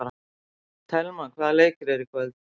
Thelma, hvaða leikir eru í kvöld?